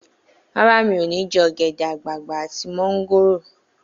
Rárá, mi ò ní jẹ ogede-agbagba àti mongoro